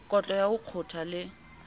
kotlo ya ho kgotha le